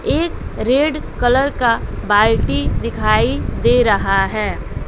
एक red colour का बाल्टी दिखाई दे रहा है।